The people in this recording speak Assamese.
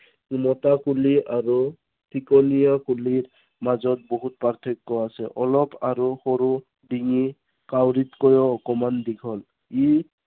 উল্টা কুলি আৰু কলীয়া কুলিৰ মাজত বহুত প্ৰাৰ্থক্য় আছে। অলপ আৰু সৰু ডিঙি, কাউৰীতকৈও অকনমান দীঘল। ই